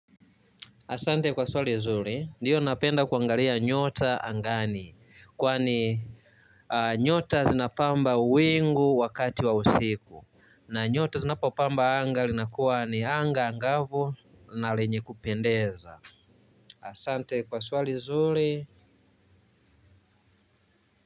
Asante kwa swali nzuri. Ndio napenda kuangalia nyota angani kwani. Nyota zinapamba wingu wakati wa usiku, na nyota zinapopamba anga linakuwa ni anga angavu na lenye kupendeza. Asante kwa swali zuri.